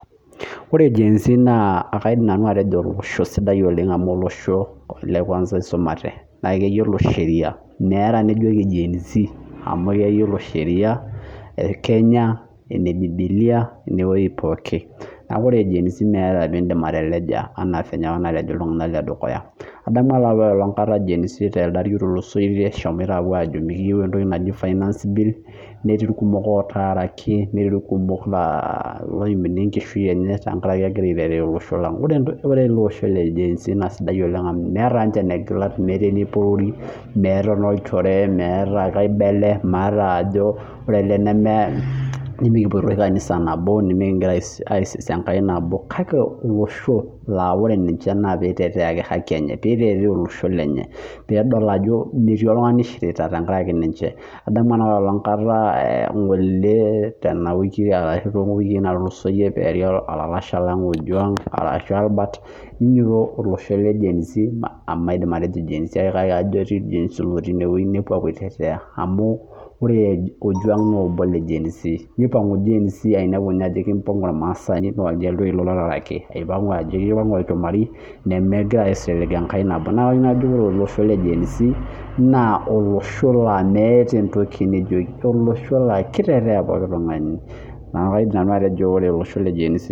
Ore genz na kaidim nanu atejo olosho sidia amu olosho oisumate meeta enijoki genz amu keyiolo sheria kenya ebibili enewoi pooki neaku ore genz meeta eninko peindim ateleja anaa fenye apa nalej tolarin otulusoyie adamu apa telde ari otulusoyie eshomoita apuo ajo mikiyieu entoki naji finance bill netii irkumok otaaraki netii irkumok otaaraki egira angoroo olosho lang oee olosho ke genz meeta ninche enekigilat meeta eneporori meeta ajo mikipoito kanisa nabo kake olosho na ore ninche na pitetea aki haki enye pedol ajo metii oltungani oishirita tenkaraki ninche adamu tendawiki natulusoyie peari olapa lalashe lang ojing ojuang ninyototo olosho le genz amu ajo etii genz otii inewueji neouo aitetea amu ore ojuang na ketaaraki ipangu olchumari nemegira aisilig enkai nabo neaku kajo ore olosho le genz naa olosho naa meeta entoki nijoki neaky kaidim nanu atejo ore olosho le gen z.